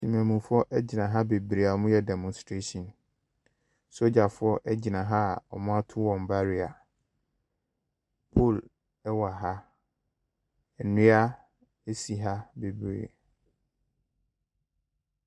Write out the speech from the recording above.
Mmanmufoɔ agyina ha bebree a ɔmo yɛ demɔnstrehyin. Sogyafoɔ egyina ha a ɔmo ato ɔmo barima. Pol ɛwɔ ha. Nnua asi ha bebree.